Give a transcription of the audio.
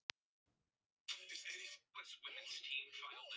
Svo keyrði ég hann heim til Tóta.